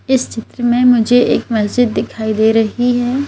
इस में मुझे एक मस्जिद दिखाई दे रही है।